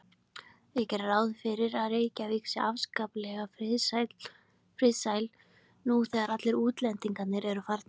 Ég geri ráð fyrir að Reykjavík sé afskaplega friðsæl nú þegar allir útlendingar eru farnir.